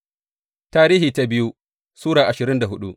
biyu Tarihi Sura ashirin da hudu